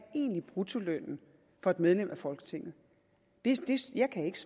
egentlig bruttolønnen for et medlem af folketinget jeg kan ikke